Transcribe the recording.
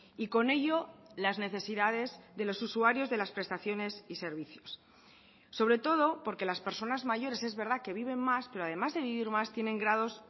y con ello las necesidades de los usuarios de las prestaciones y servicios sobre todo porque las personas mayores es verdad que viven más pero además de vivir más tienen grados